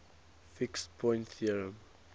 fixed point theorem